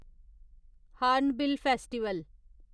hornbill festival